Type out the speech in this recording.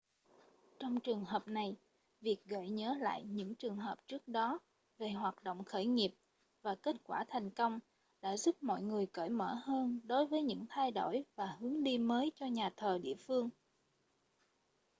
trong trường hợp này việc gợi nhớ lại những trường hợp trước đó về hoạt động khởi nghiệp và kết quả thành công đã giúp mọi người cởi mở hơn đối với những thay đổi và hướng đi mới cho nhà thờ địa phương